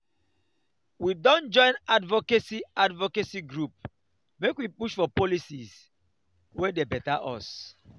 we don join advocacy advocacy group make we push for policies wey dey beta us.